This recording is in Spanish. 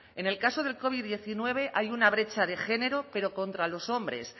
en el caso del covid diecinueve hay una brecha de género pero contra los hombres